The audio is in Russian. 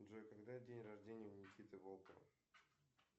джой когда день рождения у никиты волкова